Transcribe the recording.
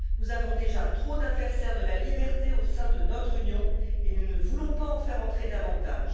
Nous avons déjà trop d'adversaires de la liberté au sein de notre Union et nous ne voulons pas en faire entrer davantage.